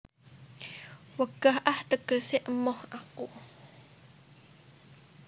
Wegah ah tegese emoh aku